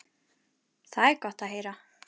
Það er gott að heyra.